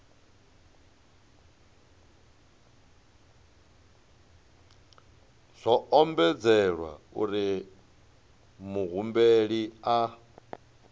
zwo ombedzelwa uri muhumbeli a